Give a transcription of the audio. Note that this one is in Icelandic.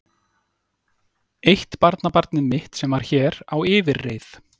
Eitt barnabarnið mitt sem var hér á yfirreið.